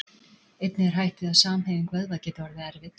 Einnig er hætt við að samhæfing vöðva geti orðið erfið.